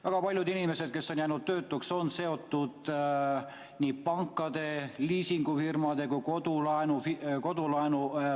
Väga paljud inimesed, kes on jäänud töötuks, on seotud nii pankade, liisingufirmade kui ka kodulaenuga.